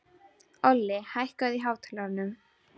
Olli, hækkaðu í hátalaranum.